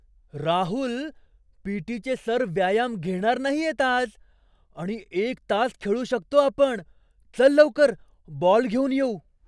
राहुल! पी.टी.चे सर व्यायाम घेणार नाहियेत आज आणि एक तास खेळू शकतो आपण! चल लवकर, बॉल घेऊन येऊ!